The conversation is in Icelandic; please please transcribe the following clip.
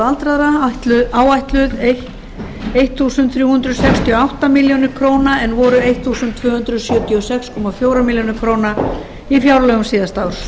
aldraðra áætluð þrettán hundruð sextíu og átta milljónir króna en voru tólf hundruð sjötíu og sex komma fjórum milljónum króna í fjárlögum síðasta árs hækkunin